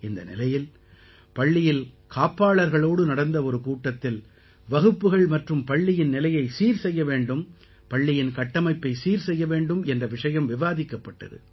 இந்த நிலையில் பள்ளியில் காப்பாளர்களோடு நடந்த ஒரு கூட்டத்தில் வகுப்புகள் மற்றும் பள்ளியின் நிலையை சீர் செய்ய வேண்டும் பள்ளியின் கட்டமைப்பை சீர் செய்ய வேண்டும் என்ற விஷயம் விவாதிக்கப்பட்டது